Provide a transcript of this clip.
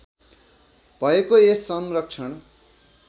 भएको यस संरक्षण